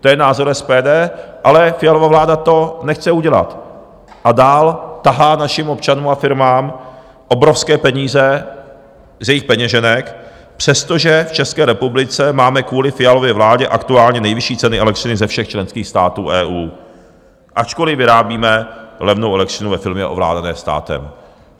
To je názor SPD, ale Fialova vláda to nechce udělat a dál tahá našim občanům a firmám obrovské peníze z jejich peněženek, přestože v České republice máme kvůli Fialově vládě aktuálně nejvyšší ceny elektřiny ze všech členských států EU, ačkoliv vyrábíme levnou elektřinu ve firmě ovládané státem.